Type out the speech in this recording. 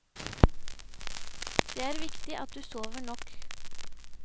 Det er viktig at du sover nok.